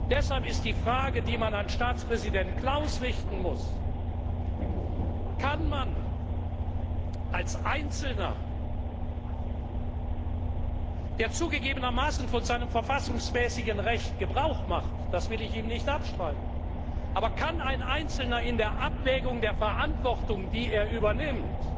Deshalb ist die Frage, die man an Staatspräsident Klaus richten muss Kann man als Einzelner der zugegebenermaßen von seinem verfassungsmäßigen Recht Gebrauch macht, das will ich ihm nicht abstreiten in der Abwägung der Verantwortung, die man übernimmt,